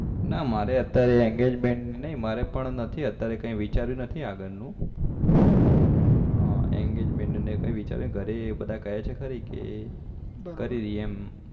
ના મારે અત્યારે engagement નહી મારે પણ અત્યારે કઈ વિચાર્યું નથી આગળ નું હા engagement નું કઈ વિચાર્યું નહિ ઘરે બધા કહે છે ખરી કે કરીલીયે એમ